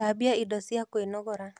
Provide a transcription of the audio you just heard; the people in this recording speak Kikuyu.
Thambia indo cia kwĩnogora